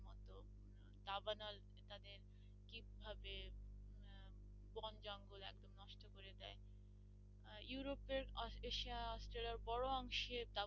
Europe এর Asia অস্ট্রেলিয়ার বড়ো অংশে